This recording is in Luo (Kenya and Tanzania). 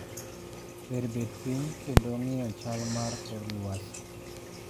"Ber bet piny kendo ng'iyo chal mar kor lwasi".